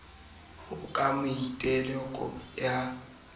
ho ka maiteko a ho